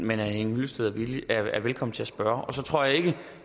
men herre henning hyllested er velkommen til at spørge jeg tror ikke